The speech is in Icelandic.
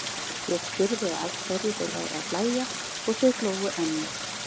Ég spurði að hverju þeir væru að hlæja og þeir hlógu enn meir.